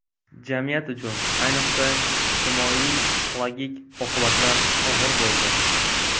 Jamiyat uchun, ayniqsa, ijtimoiy-psixologik oqibatlar og‘ir bo‘ldi.